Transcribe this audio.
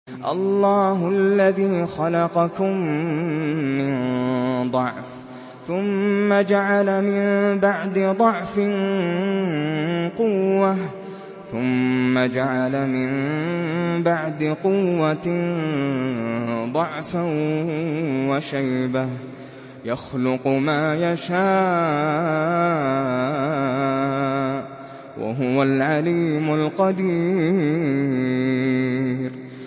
۞ اللَّهُ الَّذِي خَلَقَكُم مِّن ضَعْفٍ ثُمَّ جَعَلَ مِن بَعْدِ ضَعْفٍ قُوَّةً ثُمَّ جَعَلَ مِن بَعْدِ قُوَّةٍ ضَعْفًا وَشَيْبَةً ۚ يَخْلُقُ مَا يَشَاءُ ۖ وَهُوَ الْعَلِيمُ الْقَدِيرُ